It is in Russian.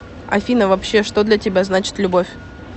афина вообще что для тебя значит любовь